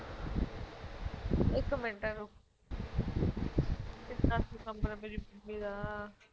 ਇੱਕ ਮਿੰਟ ਰੁਕ ਕਿੰਨਾ ਸੀਗਾ ਨੰਬਰ ਮੇਰੀ ਮੰਮੀ ਦਾ